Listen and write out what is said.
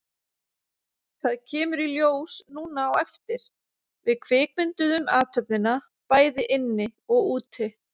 Það kemur í ljós núna á eftir, við kvikmynduðum athöfnina, bæði inni og úti.